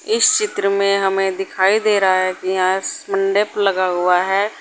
इस चित्र में हमें दिखाई दे रहा है कि यह एक मंडप लगा हुआ है।